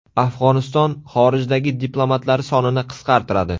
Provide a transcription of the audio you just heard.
Afg‘oniston xorijdagi diplomatlari sonini qisqartiradi.